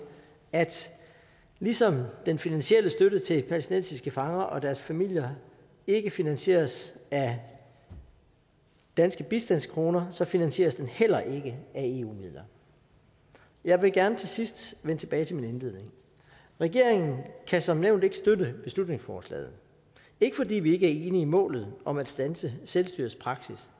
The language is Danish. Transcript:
at ligesom den finansielle støtte til palæstinensiske fanger og deres familier ikke finansieres af danske bistandskroner så finansieres den heller ikke af eu midler jeg vil gerne til sidst vende tilbage til min indledning regeringen kan som nævnt ikke støtte beslutningsforslaget ikke fordi vi ikke er enige i målet om at standse selvstyrets praksis